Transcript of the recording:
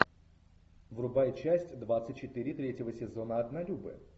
врубай часть двадцать четыре третьего сезона однолюбы